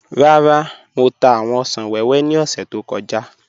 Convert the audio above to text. Rárá, Mọ̀ tà awọn òṣan wẹwẹ ni ọ̀ṣẹ̀ tó kọja.